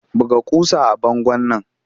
Buga ƙusa a bangon nan!